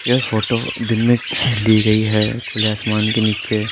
यह फ़ोटो दिन में ली गयी है आसमान के नीचे।